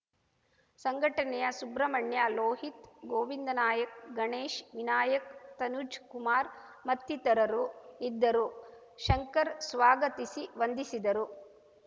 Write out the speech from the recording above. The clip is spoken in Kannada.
ಸಂಘಟನೆಯ ಸುಬ್ರಹ್ಮಣ್ಯ ಲೋಹಿತ್‌ ಗೋವಿಂದ ನಾಯಕ್‌ ಗಣೇಶ್‌ ವಿನಾಯಕ್‌ ತನುಜ್‌ಕುಮಾರ್‌ ಮತ್ತಿತರರು ಇದ್ದರು ಶಂಕರ್‌ ಸ್ವಾಗತಿಸಿ ವಂದಿಸಿದರು